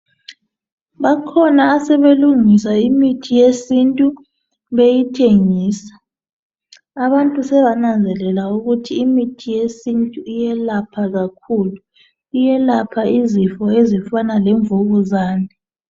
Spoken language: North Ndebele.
Bakhona asebelungisa imithi yesintu beyithengisa. Abantu sebananzelela ukuthi imithi yesintu iyelapha kakhulu. Iyelapha izifo ezifana lemvukuzane.